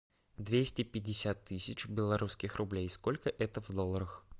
двести пятьдесят тысяч белорусских рублей сколько это в долларах